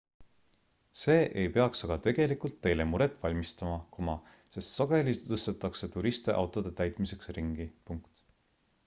see ei peaks aga tegelikult teile muret valmistama sest sageli tõstetakse turiste autode täitmiseks ringi